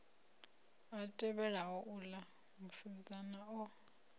a tevhelaho uḽa musidzana o